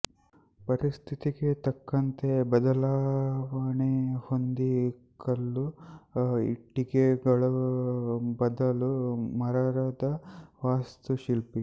ಪರಿಸ್ಥಿತಿಗೆ ತಕ್ಕಂತೆ ಬದಲಾವಣೆ ಹೊಂದಿ ಕಲ್ಲು ಇಟ್ಟಿಗೆಗಳ ಬದಲು ಮರದ ವಾಸ್ತುಶಿಲ್ಪ